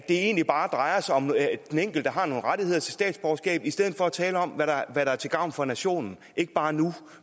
egentlig bare drejer sig om at den enkelte har ret til at få statsborgerskab i stedet for at tale om hvad der er til gavn for nationen ikke bare nu